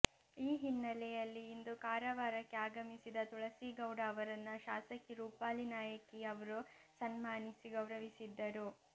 ಈ ಹಿನ್ನಲೆಯಲ್ಲಿ ಇಂದು ಕಾರವಾರಕ್ಕೆ ಆಗಮಿಸಿದ ತುಳಸಿ ಗೌಡ ಅವರನ್ನ ಶಾಸಕಿ ರೂಪಾಲಿ ನಾಯ್ಕ ಅವರು ಸನ್ಮಾನಿಸಿ ಗೌರವಿಸಿದ್ದರು